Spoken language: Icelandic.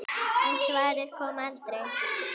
En svarið kom aldrei.